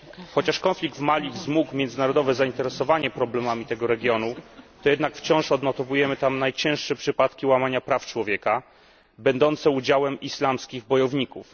Chociaż konflikt w Mali wzmógł międzynarodowe zainteresowanie problemami tego regionu, to jednak wciąż odnotowujemy tam najcięższe przypadki łamania praw człowieka przez islamskich bojowników.